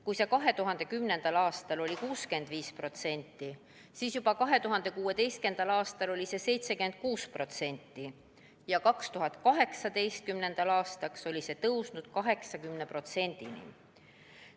Kui 2010. aastal oli see 65%, siis 2016. aastal oli see 76% ja 2018. aastaks oli see tõusnud 80%‑ni.